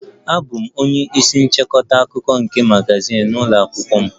Abụ m onye isi nchịkọta akụkọ nke magazin ụlọ akwụkwọ m